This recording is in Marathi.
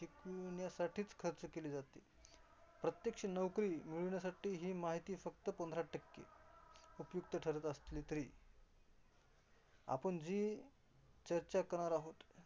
शिकण्यासाठी खर्च केली जाते. प्रत्यक्ष नोकरी मिळविण्यासाठी ही माहिती फक्त पंधरा टक्के उपयुक्त ठरत असली तरी आपण जी चर्चा करणार आहोत.